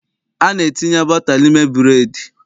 A na-etinye bọta n'ime bụreedị.